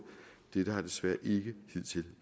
dette har desværre ikke hidtil